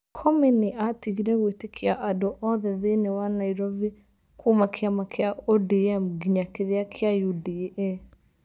Comey nĩ aatigire gwĩtĩkia andũ othe thĩinĩ wa Nairovi kuuma kĩama kĩa ODM nginya kĩria kia UDA.